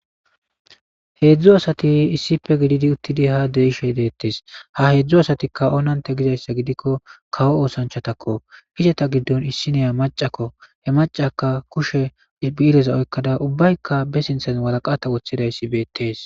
Heedzu asati issippe gididi uttidi ha de'ishe de'eteesi. Ha heedzu asati oonantte gizayssa gidikko kawo oosanchatakko izeta giddon issineya maccakko. He maccaykka kushen bi'ereza oykkada ubbaykka ba sinththen waraqata oykkidayssi beetesi.